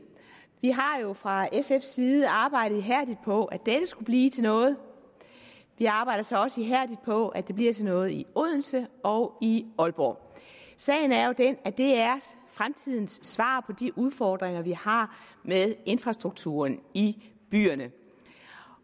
vi har jo fra sfs side arbejdet ihærdigt på at dette skulle blive til noget vi arbejder så også ihærdigt på at det bliver til noget i odense og i aalborg sagen er jo den at det er fremtidens svar på de udfordringer vi har med infrastrukturen i byerne